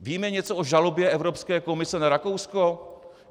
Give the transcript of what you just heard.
Víme něco o žalobě Evropské komise na Rakousko?